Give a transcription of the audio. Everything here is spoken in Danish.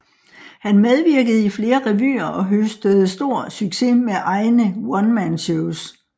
Han medvirkede i flere revyer og høstede stor succes med egne One Man Shows